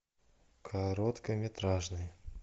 короткометражный